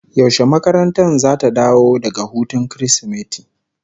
Yaushe makarantar zata dawo daga hutun Kirsimeti?